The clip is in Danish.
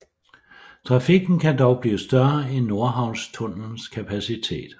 Trafikken kan dog blive større end Nordhavnstunnelens kapacitet